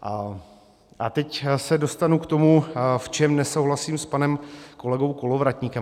A teď se dostanu k tomu, v čem nesouhlasím s panem kolegou Kolovratníkem.